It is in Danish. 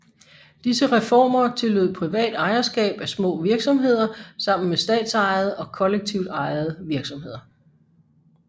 Disse reformer tillod privat ejerskab af små virksomheder sammen med statsejede og kollektivt ejede virksomheder